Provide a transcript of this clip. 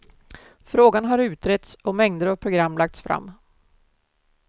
Frågan har utretts och mängder av program lagts fram.